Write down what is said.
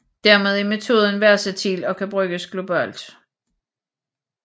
Dermed er metoden versatil og kan bruges globalt